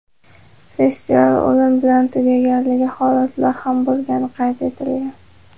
Festival o‘lim bilan tugaganligi holatlar ham bo‘lgani qayd etilgan.